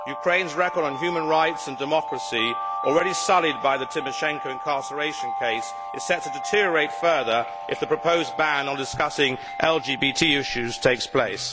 Ukraine's record on human rights and democracy, already sullied by the Tymoshenko incarceration case, is set to deteriorate further if the proposed ban on discussing LGBT issues takes place.